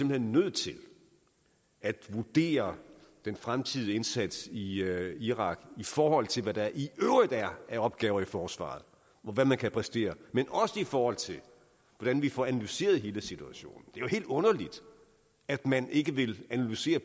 hen nødt til at vurdere den fremtidige indsats i irak i forhold til hvad der i øvrigt er af opgaver i forsvaret og hvad man kan præstere men også i forhold til hvordan vi får analyseret hele situation det jo helt underligt at man ikke vil analysere